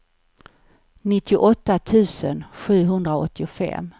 nittioåtta tusen sjuhundraåttiofem